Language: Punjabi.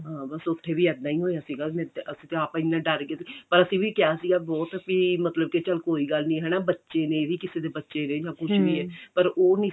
ਹਾਂ ਬੱਸ ਉੱਥੇ ਵੀ ਇੱਦਾਂ ਹੀ ਹੋਇਆ ਸੀਗਾ ਮੇਰੇ ਤੇ ਅਸੀਂ ਤੇ ਆਪ ਇੰਨੇ ਡਰ ਗਏ ਸੀਗੇ ਪਰ ਅਸੀਂ ਵੀ ਕਿਹਾ ਸੀਗਾ ਬਹੁਤ ਕਿ ਮਤਲਬ ਕਿ ਚਲ ਕੋਈ ਗੱਲ ਨੀ ਬੱਚੇ ਨੇ ਇਹ ਵੀ ਕਿਸੇ ਦੇ ਬੱਚੇ ਨੇ ਕੁੱਝ ਵੀ ਏ ਪਰ ਉਹ ਨੀ